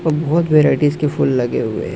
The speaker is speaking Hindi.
बहुत वैराइटीज की फुल लगे हुए हैं।